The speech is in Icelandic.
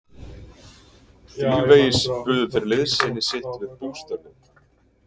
Þrívegis buðu þeir liðsinni sitt við bústörfin.